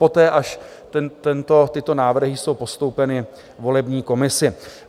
Poté až tyto návrhy jsou postoupeny volební komisi.